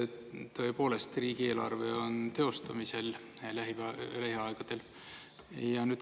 Tõepoolest, riigieelarve on teostamisel lähiaegadel.